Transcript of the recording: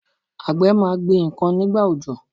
Àgbẹ̀ máa gbin ǹkan nígbà òjò.